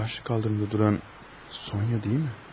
Bu qarşı səkidə duran Sonya deyilmi?